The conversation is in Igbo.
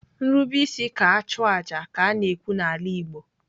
Nrube isi ka achụ aja ka a na-ekwu n'ala Igbo.